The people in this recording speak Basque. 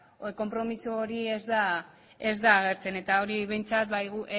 konpromiso hori ez da agertzen eta hori behintzat